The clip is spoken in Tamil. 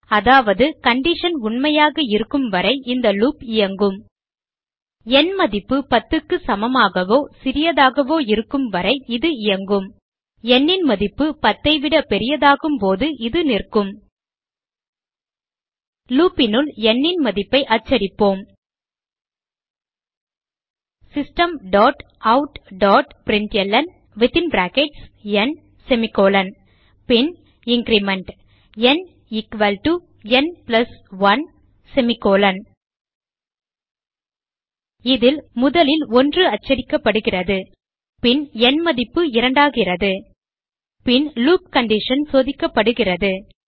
அதாவது கண்டிஷன் உண்மையாக இருக்கும் வரை இந்த லூப் இயங்கும் ந் மதிப்பு 10 க்கு சமமாகவோ சிறியதாகவோ இருக்கும் வரை இது இயங்கும் nன் மதிப்பு 10 ஐ விட பெரியதாகும் போது இது நிற்கும் loop னுள் ந் ன் மதிப்பை அச்சடிப்போம் systemoutபிரின்ட்ல்ன் பின் இன்கிரிமெண்ட் ந் ந் 1 இதில் முதலில் 1 அச்சடிக்கப்படுகிறது பின் ந் மதிப்பு இரண்டாகிறது பின் லூப் கண்டிஷன் சோதிக்கப்படுகிறது